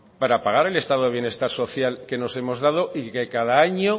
para pagar el estado de bienestar social que nos hemos dado y que cada año